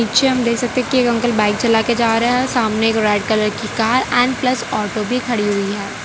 पीछे हम देख सकते है कि एक अंकल बाइक चला के जा रहे है सामने एक रेड कलर की कार एंड प्लस ऑटो भी खड़ी हुई है।